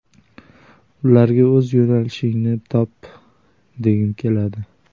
Ularga o‘z yo‘nalishingni top, degim keladi.